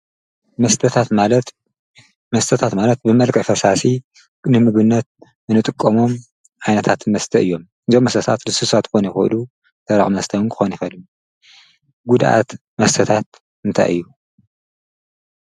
መስተታት ማለት ብመልቀ ፈሳሲ ንምግነት እንጥቆሞም ኣይነታት መስተ እዮም ዘመሰታት ልሱሳት ኮነ ይሁሉ ተራዕ ምስተን ክኾኑ ይኸሉ ጕድኣት መስተታት እንታይ እዩ